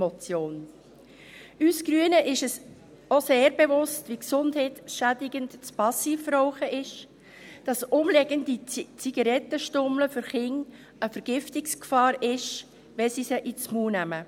Uns Grünen ist es auch sehr bewusst, wie gesundheitsschädigend das Passivrauchen ist, und dass herumliegende Zigarettenstummel für Kinder eine Vergiftungsgefahr sind, wenn sie sie in den Mund nehmen.